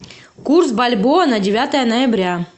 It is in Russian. курс бальбоа на девятое ноября